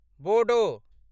Bodo